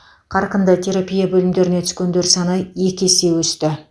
қарқынды терапия бөлімдеріне түскендер саны екі есе өсті